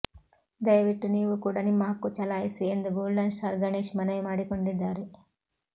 ದಯವಿಟ್ಟು ನೀವೂ ಕೂಡ ನಿಮ್ಮ ಹಕ್ಕು ಚಲಾಯಿಸಿ ಎಂದು ಗೋಲ್ಡನ್ ಸ್ಟಾರ್ ಗಣೇಶ್ ಮನವಿ ಮಾಡಿಕೊಂಡಿದ್ದಾರೆ